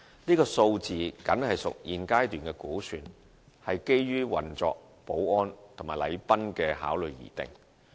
這數字僅屬現階段的估算，是基於運作、保安及禮賓的考慮而定。